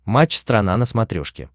матч страна на смотрешке